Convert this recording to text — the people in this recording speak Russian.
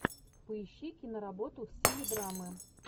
поищи киноработу в стиле драмы